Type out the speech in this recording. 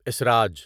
اسراج